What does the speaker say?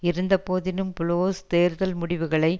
இருந்த போதினும் புளோஸ் தேர்தல் முடிவுகளை